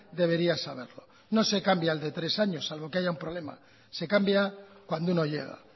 debería saberlo no se cambia al de tres años salvo que haya un problema se cambia cuando uno llega